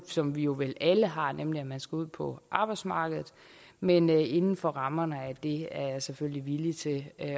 som vi jo vel alle har nemlig at man skal ud på arbejdsmarkedet men inden for rammerne af det er jeg selvfølgelig villig til at